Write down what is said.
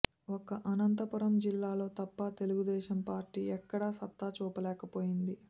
ఒక్క అనంతపురం జిల్లాలో తప్ప తెలుగుదేశం పార్టీ ఎక్కడా సత్తా చూపలేకపోయింది